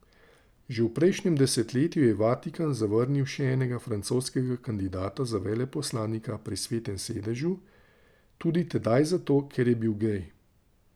Že v prejšnjem desetletju je Vatikan zavrnil še enega francoskega kandidata za veleposlanika pri Svetem sedežu, tudi tedaj zato, ker je bil gej.